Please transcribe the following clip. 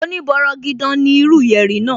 Oní bọrọgidan ní irú yẹ̀rì náà